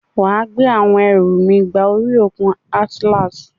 Wà á gbé àwọn ẹrù mi gba orí òkun Atlantic.